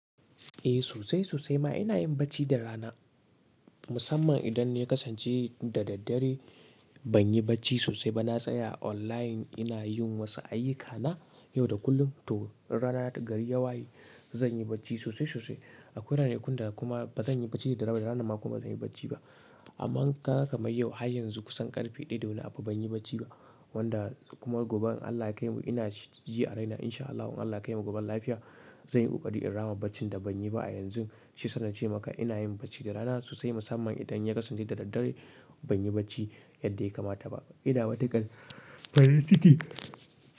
Eh sosai sosai ma ina yin bacci da rana musamman idan ya kasance da daddare banyi bacci sosai ba na tsaya online ina yin wasu ayyukana yau da kullum. To in rana gari ya waye zan yi bacci sosai sosai. Akwai ranakun da kuma bazan yi bacci da daddare ba da ranan ma kuma bazan yi bacci ba. Amma in kaga kaman yau har yanzu kusan ƙarfe ɗaya da wani abu ban yi bacci ba. Wanda kuma gobe in Allah ya kaimu ina ji a raina insha Allah. In Allah ya kaimu goben lafiya. Zan yi ƙoƙari in rama baccin da ban yi ba a yanzu. Shiyasa na ce maka ina yin bacci da rana sosai musamman idan ya kasance da daddare ban yi bacci yadda ya kamata ba. Idan matukan farinciki.